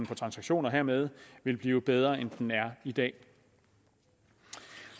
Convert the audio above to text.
for transaktioner hermed vil blive bedre end den er i dag